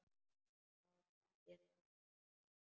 Já takið nú eftir.